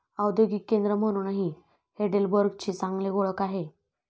औद्योगिक केंद्र म्हणूनही हेडेलबर्गची चांगली ओळख आहे.